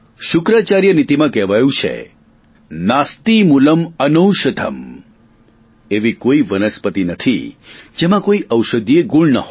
શુક્રાચાર્ય નીતિમાં કહેવાયું છે નાસ્તિ મૂલં અનૌષધં એવી કોઈ વનસ્પતિ નથી જેમાં કોઈ ઔષધીય ગુણ ન હો